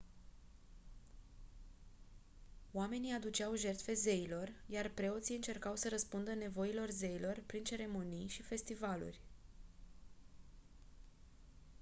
oamenii aduceau jertfe zeilor iar preoții încercau să răspundă nevoilor zeilor prin ceremonii și festivaluri